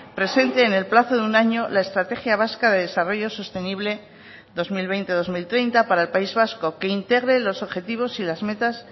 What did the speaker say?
presente en el plazo de un año la estrategia vasca de desarrollo sostenible dos mil veinte dos mil treinta para el país vasco que integre los objetivos y las metas